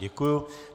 Děkuji.